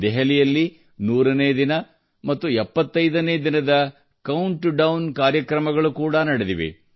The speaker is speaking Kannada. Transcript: ದೆಹಲಿಯಲ್ಲಿ 100 ನೇ ದಿನ ಮತ್ತು 75 ನೇ ದಿನದ ಕೌಂಟ್ಡೌನ್ ಕಾರ್ಯಕ್ರಮಗಳು ಕೂಡಾ ನಡೆದಿವೆ